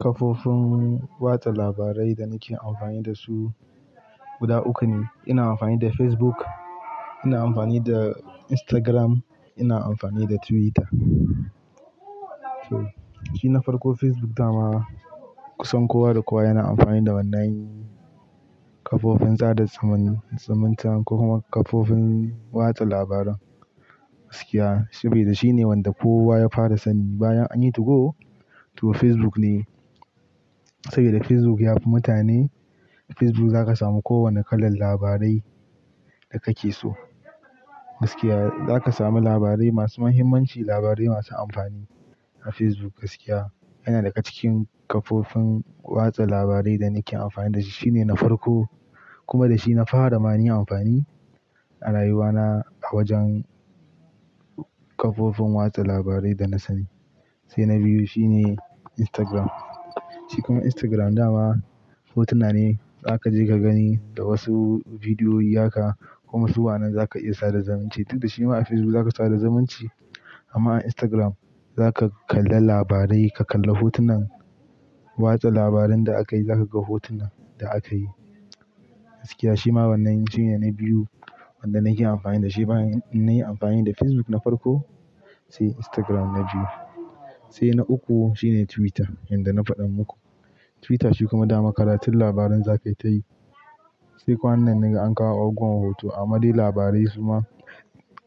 Kafofin watsa labarai da nake amfani da su guda uku ne. Ina amfani da Facebook, ina amfani da Instagram, ina amfani da Twitter. Shi na farko Facebook dama kusan kowa da kowa yana amfani da wannan kafofin sada zumun-zumunta ko kuma kafofin watsa labaran gaskiya. Shi bai da shine wanda kowa ya fara sani bayan anyi 2go, to Facebook ne. Saboda Facebook ya fi mutane, Facebook za ka samu kowane kalar labarai da kake so gaskiya. Za ka sami labarai masu muhimmanci, labarai masu amfani a Facebook gaskiya. Yana daga cikin kafofin watsa labarai da nake amfani da shi. Shi ne na farko kuma da shi na fara mani amfani a rayuwa na a wajen kafofin watsa labarai da na sani. Sai na biyu shi ne Instagram. Shi kuma Instagram dama hotuna ne za ka je ka gani da wasu bidiyo ya ka kuma su wannan za ka iya sada zumunci. Duk da shi ma a Facebook za ka sada zumunci amma a Instagram za ka kalla labarai, ka kalla hotunan watsa labaran da akayi, za ka ga hotunan da akayi gaskiya. Shi ma wannan shine na biyu wanda nake amfani da shi bayan nayi amfani da Facebook na farko sai Instagram na biyu. Sai na uku shine Twitter yanda na faɗa muku. Twitter shi kuma dama karatun labaran za ka yi tayi. Sai kwanan nan naga an kawo abubuwan hoto amma dai labarai suna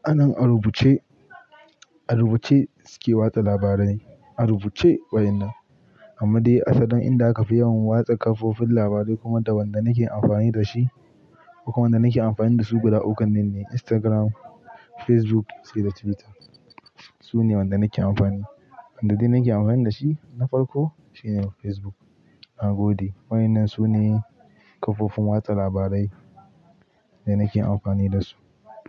anan a rubuce, a rubuce suke watsa labarai. A rubuce wa innan. Amma dai asalin inda aka fi yawan watsa kafofin labarai kuma da wanda nake amfani da shi kuma wanda nake amfani da su guda ukun nanne Instagram, Facebook sai da Twitter. Su ne wanda nake amfani. Wanda dai nake amfani da shi na farko shine Facebook. Na gode. Waɗannan su ne kafofin watsa labarai da nake amfani da su.